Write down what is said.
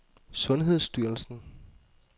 sundhedsstyrelsen